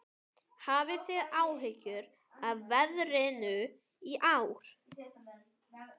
Hafið þið áhyggjur af veðrinu í ár?